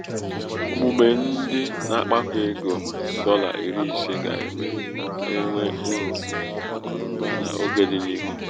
omume ịdị na-akpakọ ego dọla iri ise ga-eme ka enwee uru.n'akụnaụba n'oge dị n'ihu.